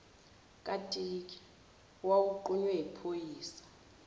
katiki owawunqunywe yiphoyisa